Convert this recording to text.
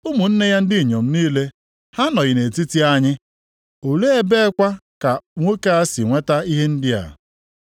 Ụmụnne ya ndị inyom niile, ha anọghị nʼetiti anyị? + 13:56 Ọ bụ na anyị amakwaghị ụmụnne ya ndị inyom, ndị anyị na ha bi nʼebe a. Olee ebekwa ka nwoke a si nweta ihe ndị a?”